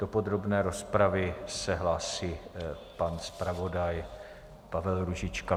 Do podrobné rozpravy se hlásí pan zpravodaj Pavel Růžička.